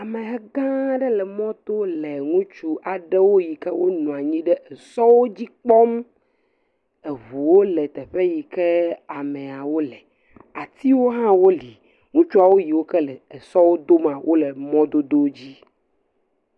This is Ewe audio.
Ameha gã aɖe le mɔto le ŋutsu aɖewo yi ke nɔ anyi ɖe sɔwo dzi kpɔm, eŋuwo le teƒe yi ke ameawo le atiwo hã woli, ŋutsuawo yi ke le emɔwo dom la le emɔdodo dzi.